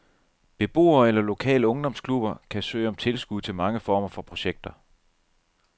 Beboere eller lokale ungdomsklubber kan søge om tilskud til mange former for projekter.